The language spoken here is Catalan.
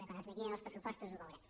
quan es liquidin els pressupostos ho veurem